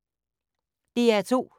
DR2